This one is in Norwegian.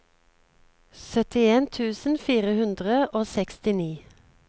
syttien tusen fire hundre og sekstini